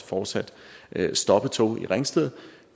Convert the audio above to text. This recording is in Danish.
fortsat stoppe tog i ringsted